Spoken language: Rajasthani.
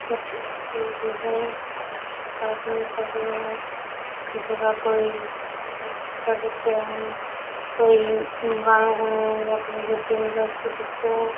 अठे एक लुगाई और एक आदमी खड्यो है जगा कोई माइक पकड़ रख्यो है कोई गाना गुनो या कोई सा दिखे है।